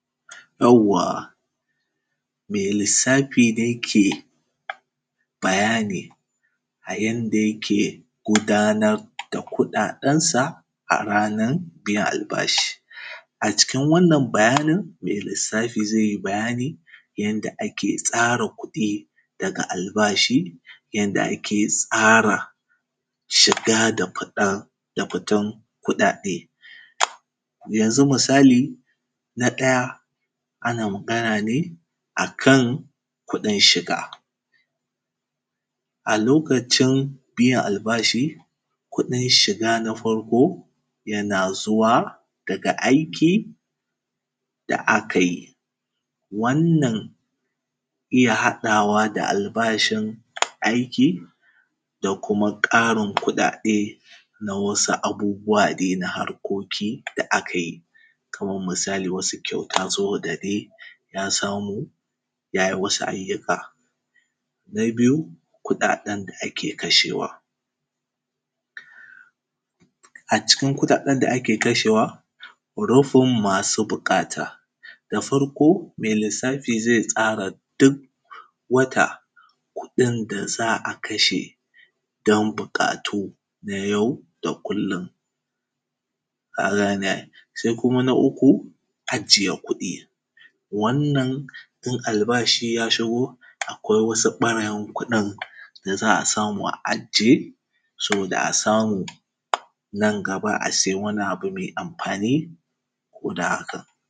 Yawwa mai lissafi ne ke bayani, a inda yake gudanad da kuɗaɗensa a ranar biyan albashi. A cikin wannan bayanin mai lissafi zai yi bayani yanda ake tsara kuɗi daga albashi yanda ake tsara, shaga da fiɗan da fitan kuɗaɗe. yanzu misali na ɗaya ana magana ne a kan kuɗin shiga, a lokacin biyan al’bashi kuɗin shiga na farko yana zuwa daga aiki da aka yi. Wannnan iya haɗawa da al’bashin aiki da kumaƙarin kuɗaɗe na wasu abubuwa dai na harkoki da aka yi. Kamar misali kyauta so da dai na samo yay i wasu ayyuka, na biyu kuɗaɗen da ke kashewa, a cikin kuɗaɗen da ake kashewa hurufun masu buƙata, da farko mai lissafi zai tasra duk wata kuɗin da za a kasha, don buƙatu na yau da kullum. Kagane ai, sai kuma na uku ajiye kuɗi, wannan in al’bashi ya shi go akwai wasu ɓarayin kuɗin, da za a samu a ajiye saboda a samu nan gaba a saya wani abu mai amfani guda haka.